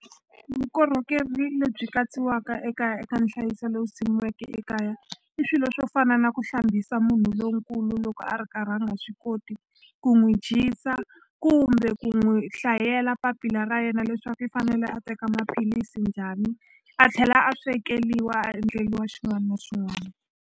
Vukorhokeri lebyi katsiwaka ekaya eka nhlayiso lowu simikiweke ekaya i swilo swo fana na ku hlambisa munhu lonkulu loko a ri karhi a nga swi koti ku n'wi dyisa kumbe ku n'wi hlayela papila ra yena leswaku i fanele a teka maphilisi njhani a tlhela a swekeliwa a endleliwa xin'wana na xin'wana.